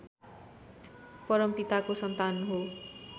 परमपिताको सन्तान हो